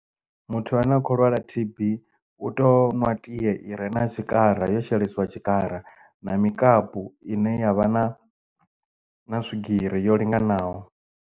Muthu ane a khou lwala T_B u teo nwa tie ire na tshikara yo shelesiwa tshikara na mikapu ine yavha na na swigiri yo linganaho.